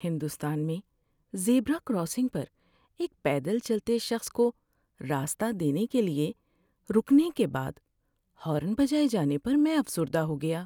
ہندوستان میں zebra crossing پر ایک پیدل چلتے شخص کو راستہ دینے لیے رکنے کے بعد ہارن بجائے جانے پر میں افسردہ ہو گیا۔